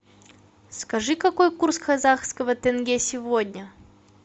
скажи какой курс казахского тенге сегодня